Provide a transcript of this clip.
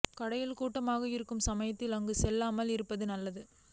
கடையில் கூட்டமாக இருக்கும் சமயத்தில் அங்கு செல்லாமல் இருப்பது நலம்